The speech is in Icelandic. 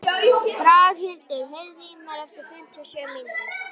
Braghildur, heyrðu í mér eftir fimmtíu og sjö mínútur.